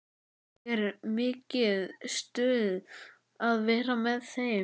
Og er mikið stuð að vera með þeim?